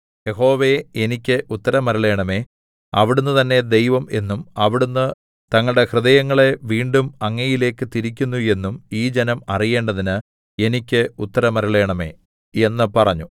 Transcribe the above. യഹോവേ എനിക്ക് ഉത്തരമരുളേണമേ അവിടുന്ന് തന്നേ ദൈവം എന്നും അവിടുന്ന് തങ്ങളുടെ ഹൃദയങ്ങളെ വീണ്ടും അങ്ങയിലേക്ക് തിരിക്കുന്നു എന്നും ഈ ജനം അറിയേണ്ടതിന് എനിക്ക് ഉത്തരമരുളേണമേ എന്ന് പറഞ്ഞു